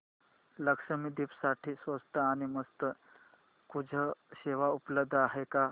लक्षद्वीप साठी स्वस्त आणि मस्त क्रुझ सेवा उपलब्ध आहे का